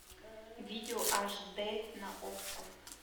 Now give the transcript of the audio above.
видео аш д на окко